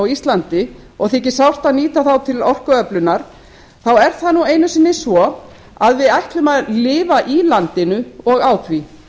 íslandi og þyki sárt að nýta þá til orkuöflunar er það nú einu sinni svo að við ætlum að lifa í landinu og á því